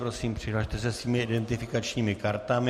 Prosím, přihlaste se svými identifikačními kartami.